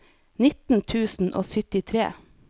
nitten tusen og syttitre